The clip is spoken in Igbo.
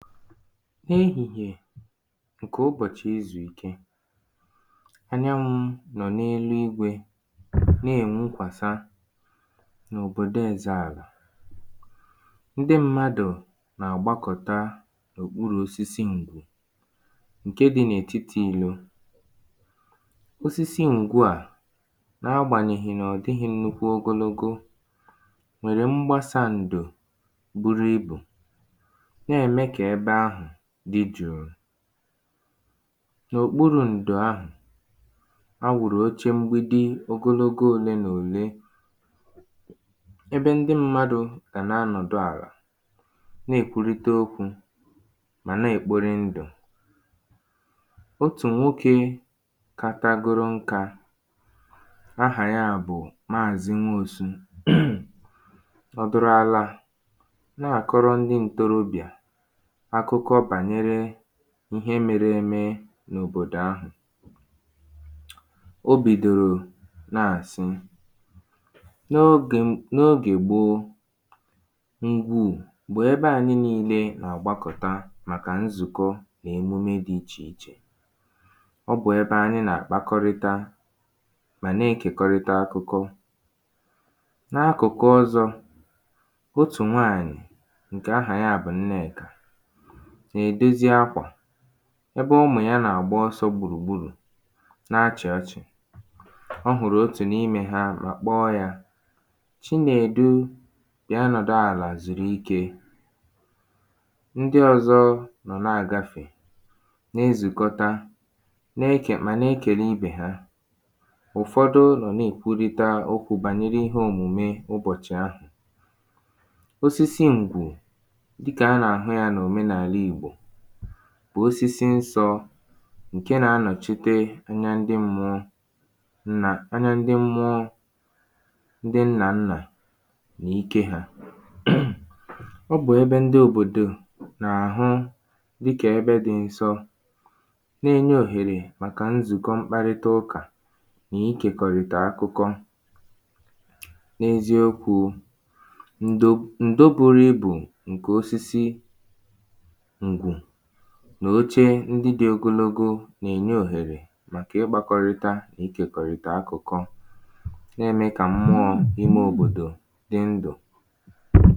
n’igwègwe ǹkè ụbọ̀chị̀ izùike ọ̀ narọ̄ a nọ̀ n’elu igwē na-èwukwàsa n’òbòdo ezēàlà ndị mmadụ̀ nà-àgbakọ̀ta n’ùkpurù osisi ǹgwù ǹke di n’ètitī ìlo osisi ǹgwu a na agbànyèghì na ọ̀ dịghị̄ nnukwu ogologo nwèrè mgbasā ǹdò buru ibù na-ème kà ebe ahụ̀ di jùu n’ùkpuru ǹdò ahụ̀ a wụ̀rụ̀ oche mgbidi ogologo òle nà òle ebe ndị mmadụ̄ gà na-anọ̀dụ àlà na-èkwulite okwū mà na-èkpoli ndù otù nwokē katagoro nkā ahà ya bụ maazị nwosu nọ̀dụ̀rụ̀ àlà na-àkọrọ ndị ǹtorobịà akụkọ bànyere ihe mere eme n’òbòdò ahụ̀ o bìdòrò na-àsị n’ogē n’ogè gboo ngwù m̀gbè ebe ànyị niilē nà-àgbakọta màkà nzụ̀kọ nà emume di iche ọ bụ̀ ebe anyị nà-àkpakọrịta mà na-ekèkọrịta akụkọ n’akụ̀kụ ọ̀zọ otù nwaanyị̀ ǹkè ahà ya bụ̀ nnekà nà-èdozi akwà ebe umù ya nà-àgba osō gbùrùgburù na-achị̀ ọchị̀ ọ hụ̀rụ̀ otù n’imē ha mà kpọ ya chinedu bịa nọ̀dụ àlà zùrù ikē ndị ọ̀zọ nọ̀ na-àgafè na-ezùkọta na-ekè ma na-ekèle ibè ha ụ̀fọdụ nọ̀ na-èkwulita okwū bànyere ihe òmùme ụbọ̀chị̀ ahụ̀ osisi ǹgwù dịkà a nà-àhụ ya n’òmenàla ìgbò bụ̀ osisi nsọ̄ ǹke na-anọ̀chite anya ndị mmụọ nà anya ndị mmụọ ndị nnà nnà n'ike ha ọ bụ̀ ebe ndị òbòdò na-àhụ dịkà ebe di nsọ na-enye òhèrè màkà nzụkọ mkparịtaụkà nà igèkọrị̀tà akụko n’ezi okwū ndo ǹdo nuru ibù ǹke osisi ùgwù nà oche ndị di ogologo nà-ènye òhèrè màkà ịgbākọrịta nà ikèkọ̀rị̀ta akụ̀kọ nà-ème kà mmụọ ime òbodo nà-ème kà mmụọ ime òbodo